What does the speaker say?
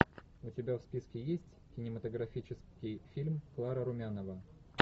у тебя в списке есть кинематографический фильм клара румянова